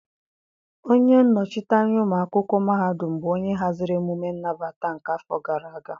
Onye nnọchite anya ụmụ akwụkwọ mahadum bụ onye haziri emume nnabata nke afọ gara aga.